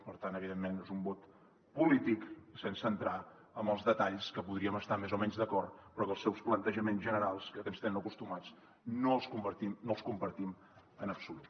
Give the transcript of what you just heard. per tant evidentment és un vot polític sense entrar en els detalls que podríem estar hi més o menys d’acord però els seus plantejaments generals a que ens tenen acostumats no els compartim en absolut